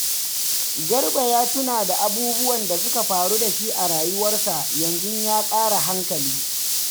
Garba ya tuna da abubuwan da suka faru da shi a rayuwarsa, yanzu ya ƙara hankali.